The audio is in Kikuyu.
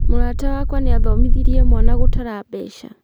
Mũrata wakwa nĩathomithirie mwana gũtara mbeca